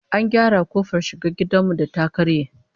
An gyara kofar shiga gidan mu da ta karye